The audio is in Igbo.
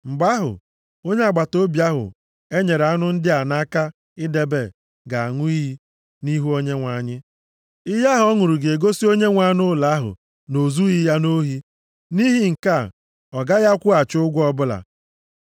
mgbe ahụ, onye agbataobi ahụ e nyere anụ ndị a nʼaka idebe ga-aṅụ iyi nʼihu Onyenwe anyị. Iyi ahụ ọ ṅụrụ ga-egosi onyenwe anụ ụlọ ahụ na o zughị ya nʼohi. Nʼihi nke a, ọ gaghị akwụghachi ụgwọ ọbụla.